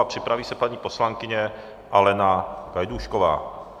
A připraví se paní poslankyně Alena Gajdůšková.